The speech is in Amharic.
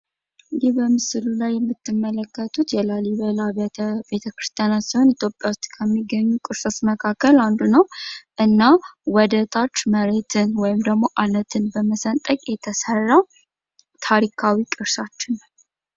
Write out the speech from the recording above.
ይህ በምስሉ ላይ የምትመለከቱት የላሊበላ ቤት-ክርስቲያን ሲሆን ኢትዮጵያ ዉስጥ ካሉ ቅርሶች አንዱ ሲሆን እና ወደታች አለትን በመሰንጠቅ የተሰራ ታሪካዊ ቅርሳችን ነው።